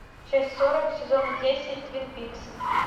часть сорок сезона десять твин пикс